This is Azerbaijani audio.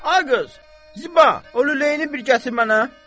Ay qız, Ziba, o lüləyini bir gətir mənə.